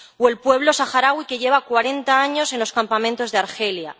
o el pueblo saharaui, que lleva cuarenta años en los campamentos de Argelia...